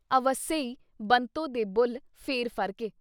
ਅਵੱਸੇ ਈ ਬੰਤੋ ਦੇ ਬੁੱਲ੍ਹ ਫਿਰ ਫ਼ਰਕੇ